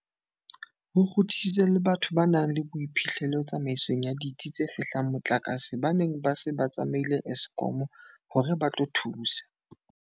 Ho kgutlisitswe le batho ba nang le boiphihlelo tsamaisong ya ditsi tse fehlang motlakase ba neng ba se ba tsamaile Eskom hore ba tlo thusa.